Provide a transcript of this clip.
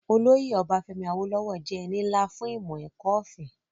Olóyè Ọbafẹ́mi Awólówọ̀ jẹ́ ẹni nlá fún ìmọ̀-ẹ̀kọ́ ọ̀fẹ́